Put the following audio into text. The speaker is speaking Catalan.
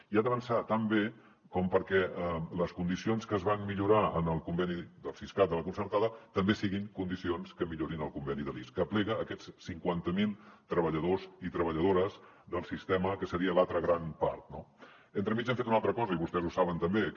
i ha d’avançar tan bé com perquè les condicions que es van millorar en el conveni del siscat de la concertada també siguin condicions que millorin el conveni de l’ics que aplega aquests cinquanta mil treballadors i treballadores del sistema que seria l’altra gran part no entremig hem fet una altra cosa i vostès ho saben també que